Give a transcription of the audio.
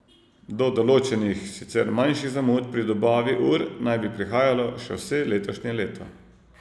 Do določenih, sicer manjših zamud pri dobavi ur naj bi prihajalo še vse letošnje leto.